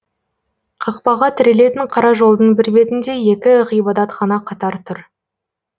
қақпаға тірелетін қара жолдың бір бетінде екі ғибадатхана қатар тұр